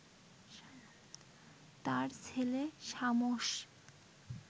তার ছেলে শামস